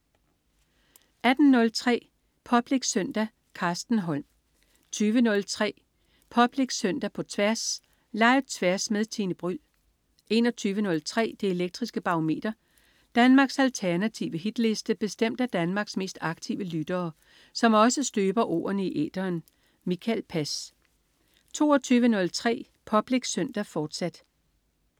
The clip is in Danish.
18.03 Public Søndag. Carsten Holm 20.03 Public Søndag på Tværs. Live-Tværs med Tine Bryld 21.03 Det elektriske Barometer. Danmarks alternative hitliste bestemt af Danmarks mest aktive lyttere, som også støber ordene i æteren. Mikael Pass 22.03 Public Søndag, fortsat